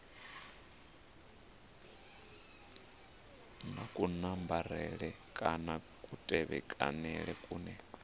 na kunambarele kana kutevhekanele kune